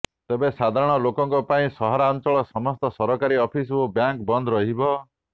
ତେବେ ସାଧାରଣ ଲୋକଙ୍କ ପାଇଁ ସହରାଞ୍ଚଳର ସମସ୍ତ ସରକାରୀ ଅଫିସ ଓ ବ୍ୟାଙ୍କ ବନ୍ଦ ରହିବ